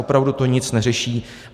Opravdu to nic neřeší.